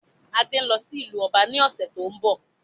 Adé ń lọ sí ìlú ọba ní ọ̀sẹ̀ tó ń bọ̀